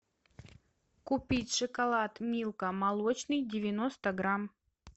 купить шоколад милка молочный девяносто грамм